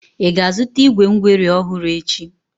Ị ga-azụta igwé ngweri ọhụrụ echi?